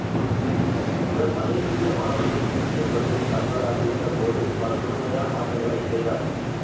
இவர் மலேசிய வானொலியின் இந்தியப் பகுதியின் தலைவராக இருந்த போது பல புதுமையான மாற்றங்களைச் செய்தார்